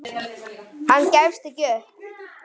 Hann gefst ekki upp.